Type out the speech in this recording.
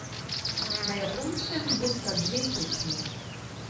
Na Japonskem bosta dve tekmi.